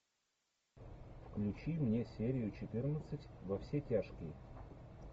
включи мне серию четырнадцать во все тяжкие